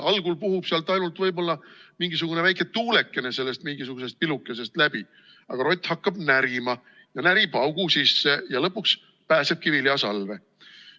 Algul puhub sealt ainult võib-olla mingisugune väike tuuleke mingisugusest pilukesest läbi, aga rott hakkab närima, närib augu sisse ja lõpuks pääsebki viljasalve.